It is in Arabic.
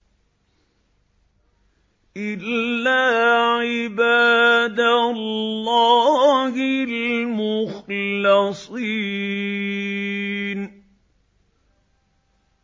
إِلَّا عِبَادَ اللَّهِ الْمُخْلَصِينَ